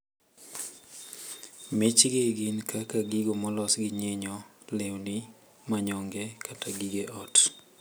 Mich gi gin kaka gigo molos gi nyinyo, lewni ,manyonge kata gige ot.